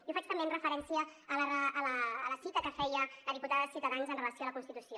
i ho faig també amb referència a la cita que feia la diputada de ciutadans amb relació a la constitució